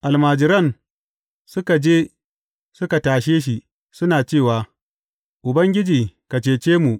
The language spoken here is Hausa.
Almajiran suka je suka tashe shi, suna cewa, Ubangiji, ka cece mu!